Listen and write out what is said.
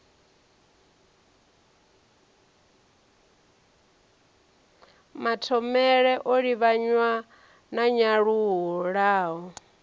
mathomele o livhanywa na nyanyulaho